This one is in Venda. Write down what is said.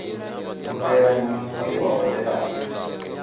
u ḓela muṋangoni wa hodelani